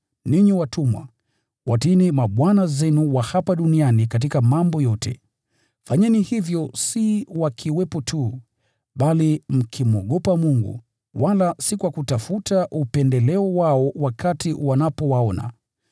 Ninyi watumwa, watiini mabwana zenu wa hapa duniani katika mambo yote. Fanyeni hivyo si wakiwepo tu, wala si kwa kutafuta upendeleo wao, bali kwa moyo mnyofu na kumcha Bwana.